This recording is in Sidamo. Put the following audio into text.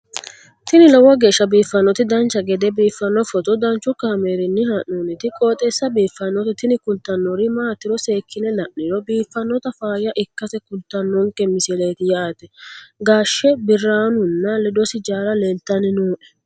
tini lowo geeshsha biiffannoti dancha gede biiffanno footo danchu kaameerinni haa'noonniti qooxeessa biiffannoti tini kultannori maatiro seekkine la'niro biiffannota faayya ikkase kultannoke misileeti yaate gashe biranunna ledosi jaalla leeltanni noe